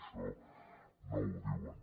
això no ho diuen